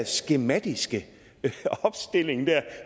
skematiske opstilling